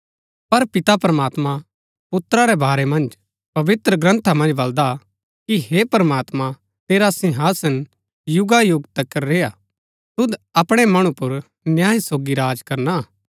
पर पिता प्रमात्मां पुत्रा रै बारै मन्ज पवित्रग्रन्था मन्ज बलदा कि हे प्रमात्मां तेरा सिंहासन युगायुग तिकर रैहणा तुद अपणै मणु पुर न्याय सोगी राज करना हा